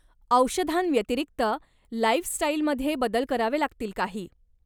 औषधांव्यतिरिक्त, लाइफस्टाइलमध्ये बदल करावे लागतील काही.